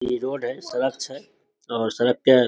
इ रोड हेय सड़क छै और सड़क --